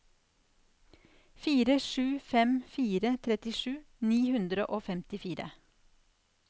fire sju fem fire trettisju ni hundre og femtifire